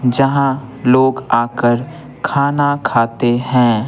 जहाँ लोग आकर खाना खाते हैं।